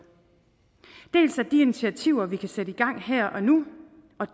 dels de initiativer vi kan sætte i gang her og nu